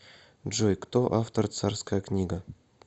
джой кто автор царская книга